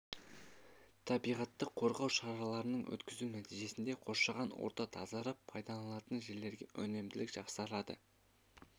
табиғатты қорғау шараларын өткізу нәтижесінде қоршаған орта тазарып пайдаланылатын жерлерде өнімділік жақсарады